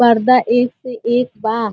पर्दा एक से एक बा।